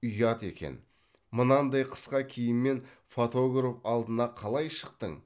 ұят екен мынандай қысқа киіммен фотограф алдына қалай шықтың